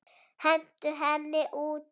Hentu henni út!